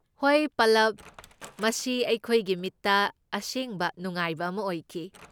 ꯍꯣꯏ ꯄꯜꯂꯕ! ꯃꯁꯤ ꯑꯩꯈꯣꯏꯒꯤ ꯃꯤꯠꯇ ꯑꯁꯦꯡꯕ ꯅꯨꯡꯉꯥꯏꯕ ꯑꯃ ꯑꯣꯏꯈꯤ꯫